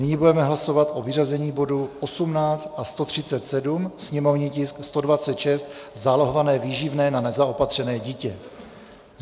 Nyní budeme hlasovat o vyřazení bodů 18 a 137, sněmovní tisk 126, zálohované výživné na nezaopatřené dítě.